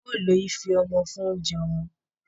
Á ó lo ife ọmọ fún oúnjẹ ọmọ